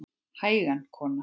Hægan kona!